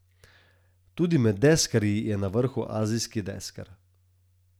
Tudi med deskarji je na vrhu Azijski deskar.